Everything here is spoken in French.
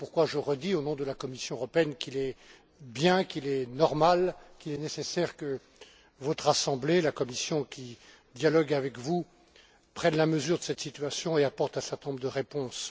Voilà pourquoi je redis, au nom de la Commission européenne, qu'il est bien, qu'il est normal et qu'il est nécessaire que votre Assemblée et la Commission, qui dialogue avec vous, prennent la mesure de cette situation et apportent un certain nombre de réponses.